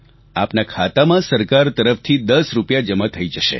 આપના ખાતામાં સરકાર તરફથી 10 રૂપિયા જમા થઈ જશે